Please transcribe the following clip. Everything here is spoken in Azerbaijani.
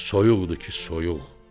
soyuqdur ki, soyuq.